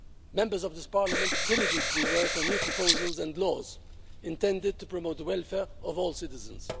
Members of this parliament diligently work on new proposals and laws intended to promote the welfare of all citizens.